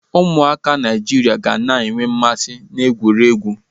Ụmụaka Naịjirịa ga na-enwe mmasị n'egwuregwu.